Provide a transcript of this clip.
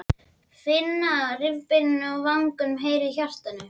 Finna rifbeinin við vangann og heyra í hjartanu.